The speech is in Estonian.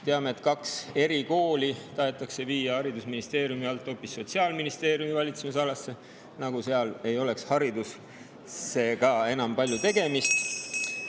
Teame, et kaks erikooli tahetakse viia haridusministeeriumi hoopis Sotsiaalministeeriumi valitsemisalasse, nagu ei oleks haridusega enam väga palju tegemist.